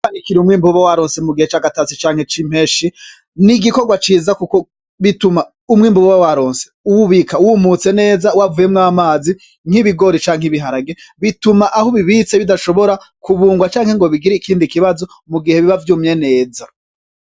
Kwanikira umwimbu ubawaronse mugihe cagatasi canke cimpeshi n' igikogwa ciza kuko bituma umwimbu uba waronse uwubika wumutse neza wavuyemwo amazi; nk’ Ibigori canke Ibiharage bituma aho ubibitse bidashobora kubugwa canke bigire ikindi kibazo mugihe biba vyumye neza.